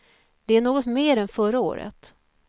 Det är något mer än förra året.